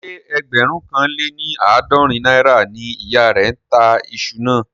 Ṣé ẹgbẹ̀rún kan lé ní àádọ́rin náírà ni ìyá rẹ̀ ń tà iṣu náà?